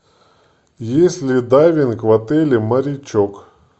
есть ли дайвинг в отеле морячок